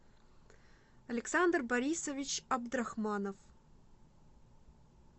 александр борисович абдрахманов